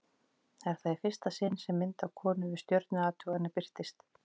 Er það í fyrsta sinn sem mynd af konu við stjörnuathuganir birtist.